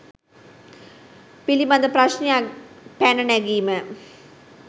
පිළිබඳ ප්‍රශ්නයක් පැන නැගීම